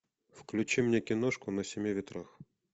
включи мне киношку на семи ветрах